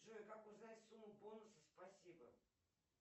джой как узнать сумму бонусов спасибо